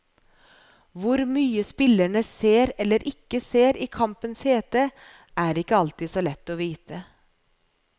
Hvor mye spillerne ser eller ikke ser i kampens hete, er ikke alltid så lett å vite.